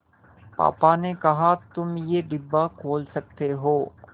पापा ने कहा तुम ये डिब्बा खोल सकते हो